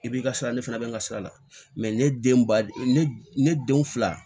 I b'i ka sira ne fana bɛ n ka sira la ne den ba ne den fila